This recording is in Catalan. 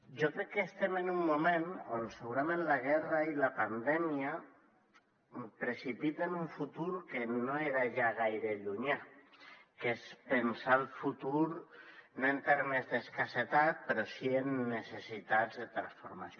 jo crec que estem en un moment on segurament la guerra i la pandèmia precipi·ten un futur que no era ja gaire llunyà que és pensar el futur no en termes d’escas·setat però sí en necessitats de transformació